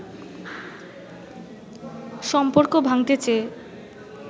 সম্পর্ক ভাঙতে চেয়ে